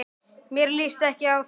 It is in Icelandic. Mér líst ekki á þetta.